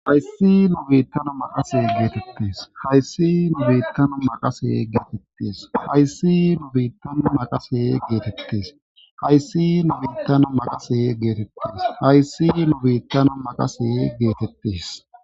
Hayssi nu biittana maqase geetettees. Hayssi nu biittana maqase geetettes. Hayssi nu biittana maqase geetettes. Hayssi nu biittana maqase geetettes. Hayssi nu biittana maqase geetettes.